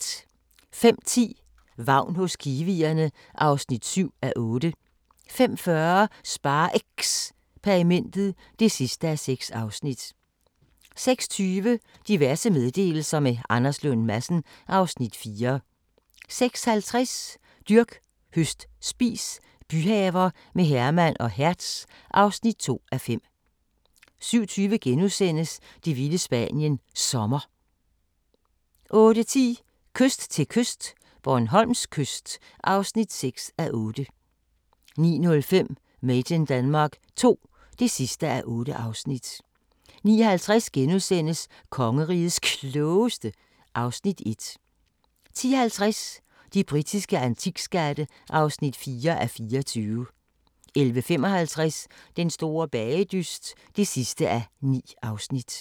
05:10: Vagn hos kiwierne (7:8) 05:40: SpareXperimentet (6:6) 06:20: Diverse meddelelser – med Anders Lund Madsen (Afs. 4) 06:50: Dyrk, høst, spis – byhaver med Herman og Hertz (2:5) 07:20: Det vilde Spanien – Sommer * 08:10: Kyst til kyst - Bornholms kyst (6:8) 09:05: Made in Denmark II (8:8) 09:50: Kongerigets Klogeste (Afs. 1)* 10:50: De britiske antikskatte (4:24) 11:55: Den store bagedyst (9:9)